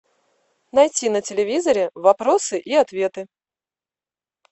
найти на телевизоре вопросы и ответы